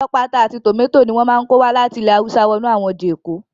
Ọ̀pọ̀lọpọ̀ ata àti tòmátò ni wọ́n máa ń kó wá láti ilè hawúsá wọnú àwọn ọjà èkó